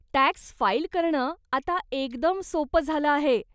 Tax file करणं आता एकदम सोप झालं आहे.